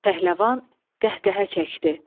Pəhləvan qəhqəhə çəkdi.